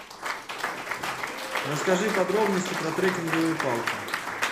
расскажи подробности про трекинговые палки